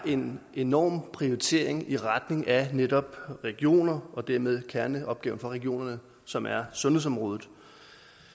er en enorm prioritering i retning af netop regionerne og dermed kerneopgaven for regionerne som er sundhedsområdet